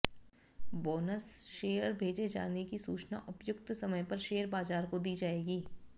bonus share भेजे जाने की सूचना उपयुक्त समय पर शेयर बाजार को दी जाएगी